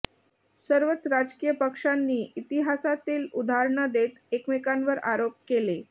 सर्वच राजकीय पक्षांनी इतिहासातली उदाहरणं देत एकमेकांवर आरोप केले